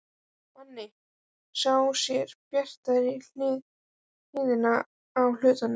Manni sem sér bjartari hliðina á hlutunum.